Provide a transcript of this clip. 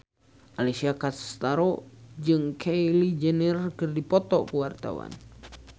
Alessia Cestaro jeung Kylie Jenner keur dipoto ku wartawan